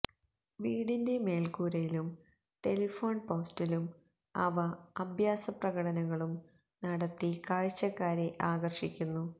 വീടിന്റെ മേല്ക്കൂരയിലും ടെലിഫോണ് പോസ്റ്റിലും അവ അഭ്യാസപ്രകടനങ്ങളും നടത്തി കാഴ്ചക്കാരെ ആകര്ഷിക്കുന്നു